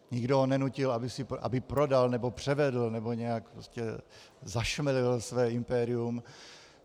Nikdo ho nenutil, aby prodal nebo převedl nebo nějak zašmelil své impérium.